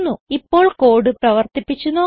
ഇപ്പോൾ കോഡ് പ്രവർത്തിപ്പിച്ച് നോക്കാം